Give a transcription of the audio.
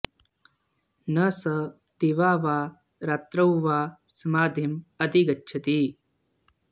न स दिवा वा रात्रौ वा समाधिं अधिगच्छति